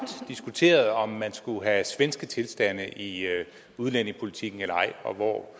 diskuterede om man skulle have svenske tilstande i udlændingepolitikken eller ej og hvor